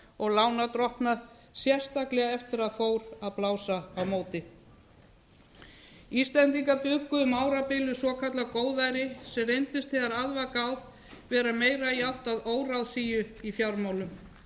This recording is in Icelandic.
og lánardrottna sérstaklega eftir að fór að blása á móti íslendingar bjuggu um árabil við svokallað góðæri sem reyndist þegar að var gáð vera meira í ætt við óráðsíu í fjármálum